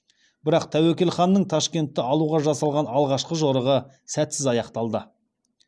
бірақ тәуекел ханның ташкентті алуға жасалған алғашқы жорығы сәтсіз аяқталады